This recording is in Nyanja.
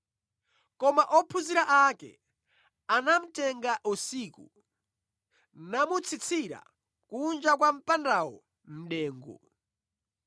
Koma ophunzira ake anamutenga usiku, namutsitsira kunja kwa mpandawo mʼdengu.